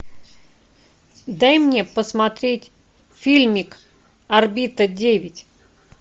дай мне посмотреть фильмик орбита девять